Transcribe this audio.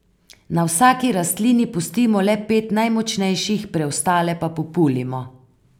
Na vsaki rastlini pustimo le pet najmočnejših, preostale pa populimo.